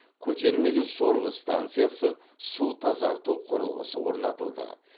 көтермелі сорғы станциясы су тазарту құрылғысы орнатылды